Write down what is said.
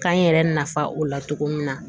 K'an yɛrɛ nafa o la cogo min na